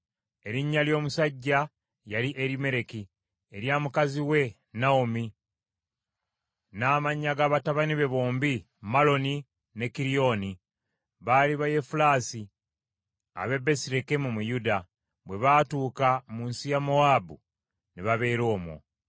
Erinnya ly’omusajja yali Erimereki, erya mukazi we Nawomi, n’amannya ga batabani be bombi, Maloni ne Kiriyoni. Baali Bayefulaasi ab’e Besirekemu mu Yuda, bwe baatuuka mu nsi ya Mowaabu, ne babeera omwo.